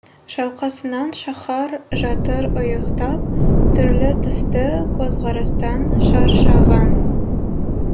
шалқасынан шаһар жатыр ұйықтап түрлі түсті көзқарастан шаршаған